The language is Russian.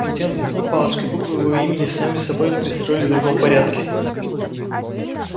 затем взмахнул палочкой и буквы его имени сами собой перестроились в другом порядке